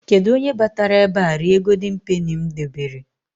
Kedụ onye batara ebe a rie Goldin Peni m debere?